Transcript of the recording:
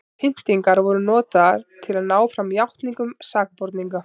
pyntingar voru notaðar til að ná fram játningum sakborninga